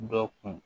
Dɔ kun